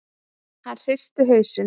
Hann hristi hausinn.